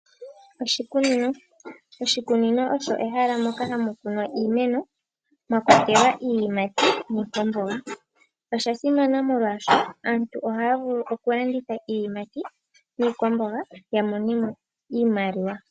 Oshikunino osho ehala moka hamu kunwa iimeno mwakwatelwa iiyimati niikwamboga osha simana molwashoka aantu ohaya vulu okulanditha iiyimati niikwamboga ya mone mo iimaliwa.